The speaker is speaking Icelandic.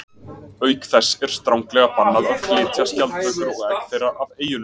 Auk þess er stranglega bannað að flytja skjaldbökur og egg þeirra af eyjunum.